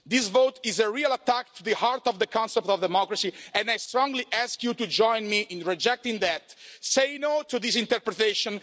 This vote is a real attack on the heart of the concept of democracy and I strongly ask you to join me in rejecting that. Say no to this interpretation.